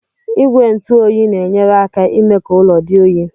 Igwe ntụ oyi na-enyere aka imee ka ụlọ dị oyi.